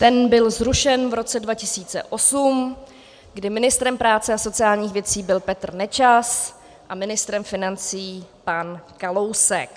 Ten byl zrušen v roce 2008, kdy ministrem práce a sociálních věcí byl Petr Nečas a ministrem financí pan Kalousek.